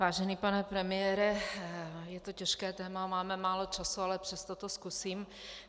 Vážený pane premiére, je to těžké téma, máme málo času, ale přesto to zkusím.